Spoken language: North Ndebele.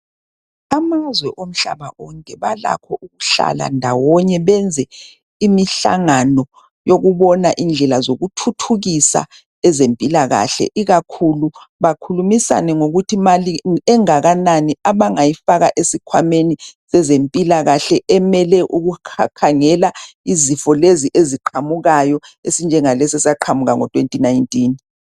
Amazwe omhlaba onke balakho ukuhlala ndawonye benze imihlangano yokubona indlela zoku thuthukisa ezempilakahle ikakhulu bakhulumisane ngokuthi mali engakanani abangayifaka esikhwameni sezempilakahle emele ukukhakhangela izifo lezi eziqhamukayo esinjengalesi esaqhamukango2019.